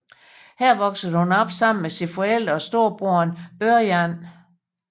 Her voksede hun op sammen med sine forældre og storebroderen Ørjan